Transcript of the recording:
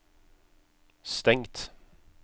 stengt